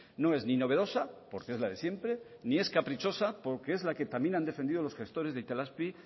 no es ni novedosa porque es la de siempre ni es caprichosa porque es la que también ha defendido los gestores de itelazpi